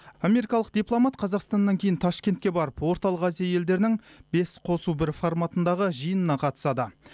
америкалық дипломат қазақстаннан кейін ташкентке барып орталық азия елдерінің бес қосу бір форматындағы жиынына қатысады